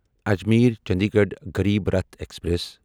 اجمیرچنڈیگڑھ Garib Rath express